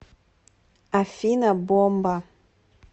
афина бомба